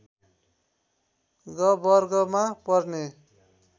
ग वर्गमा पर्ने